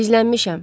Gizlənmişəm.